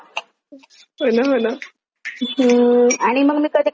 हम्म आणि मग मी कधी कधी तरी ना गाणे वगैरे पण ऐकत असते.